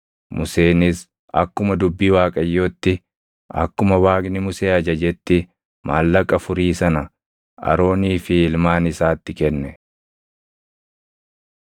Museenis akkuma dubbii Waaqayyootti, akkuma Waaqni Musee ajajetti maallaqa furii sana Aroonii fi ilmaan isaatti kenne.